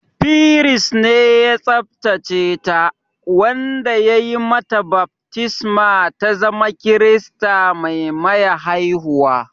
Firist ne ya tsabtace ta, wanda ya yi mata baftisma ta zama Kirista mai maya haihuwa